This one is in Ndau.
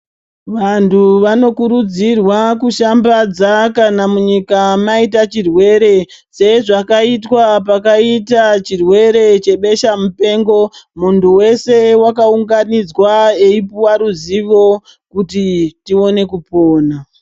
Vantu vanokurudzirwa kushambadza kana munyika maita chirwere sezvakaitwa pakaita chirwere chebeshamupengo. Muntu weshe wakaunganidzwa eipuwa ruzivo kuti tione kupona.